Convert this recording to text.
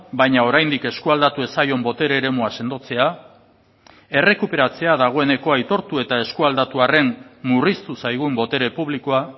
baina oraindik esku aldatu ez zaion botere eremua sendotzea errekuperatzea dagoeneko aitortu eta esku aldatu arren murriztu zaigun botere publikoa